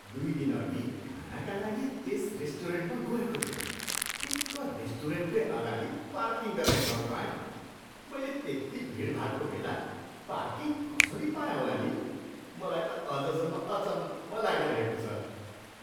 दुई दिनअघि खानाका लागि त्यस रेस्टुरेन्टमा गएको थिएँ, ठिक्क रेस्टुरेन्टकै अगाडि पार्किङ गर्ने ठाउँ पाएँ। मैले त्यति भिडभाडको बेला पार्किङ कसरी पाएँ होला नि? मलाई त अझसम्म अचम्म लागिरहेको छ।